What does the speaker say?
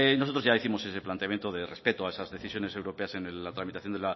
nosotros ya décimos ese planteamiento de respeto a esas decisiones europeas en la tramitación